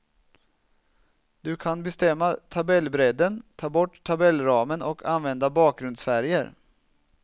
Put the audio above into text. Du kan bestämma tabellbredden, ta bort tabellramen och använda bakgrundsfärger.